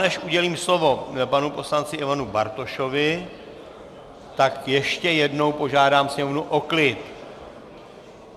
Než udělím slovo panu poslanci Ivanu Bartošovi, tak ještě jednou požádám sněmovnu o klid!